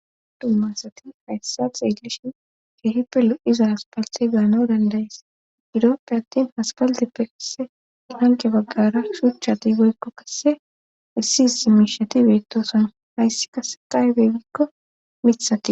dumma asati hayssa xeeygeshin keehipe lo7iza aspaltxe gaana dandayis iroppe attin haspaldippe kasse hanqe baggara shuchati goykko kasse issi is si miishati beettoson hayssi kase qaybegikko mithati